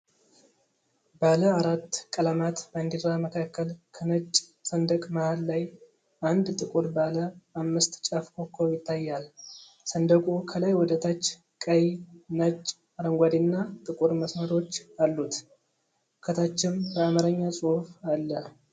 ባለ አራት ቀለማት ባንዲራ መካከል፣ ከነጭ ሰንደቅ መሀል ላይ አንድ ጥቁር ባለ አምስት ጫፍ ኮከብ ይታያል። ሰንደቁ ከላይ ወደ ታች ቀይ፣ ነጭ፣ አረንጓዴና ጥቁር መስመሮች አሉት፤ ከታችም በአማርኛ ጽሑፍ አለ።